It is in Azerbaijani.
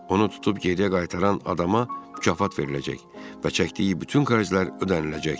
Onu tutub geriyə qaytaran adama mükafat veriləcək və çəkdiyi bütün xərclər ödəniləcəkdir.